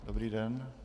Dobrý den.